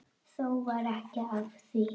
Þó varð ekki af því.